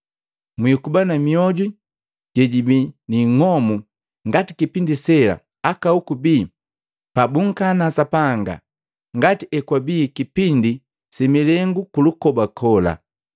mwiikuba na mioju jejibii niing'omu ngati kipindi sela aka hoku bii pa bunkana Sapanga, ngati hekwabii kipindi similengu kulukoba kola.